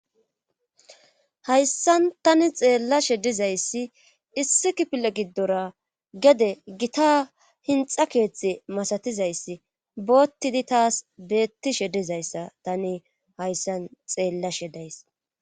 Qayssan tani xeellashe dizayssi issi kipile giddora gede gita hinxa keetxi masatizayssi boottidi taas beettishe dizayssa tani hayssan xeellashe days.